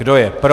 Kdo je pro?